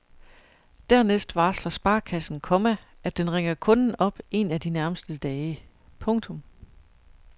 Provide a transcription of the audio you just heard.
Dernæst varsler sparekassen, komma at den ringer kunden op en af de nærmeste dage. punktum